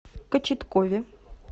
кочеткове